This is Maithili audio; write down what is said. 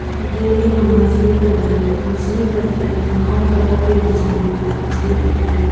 आय गेल रही हम मछली खरीदेले मछली खरीदेले गेलो हर तरह के मछली रएहे मछली पट्टी में ।